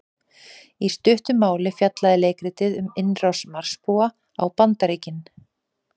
Í stuttu máli fjallaði leikritið um innrás Marsbúa á Bandaríkin.